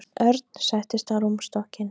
Örn settist á rúmstokkinn.